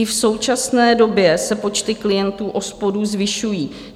I v současné době se počty klientů OSPODů zvyšují.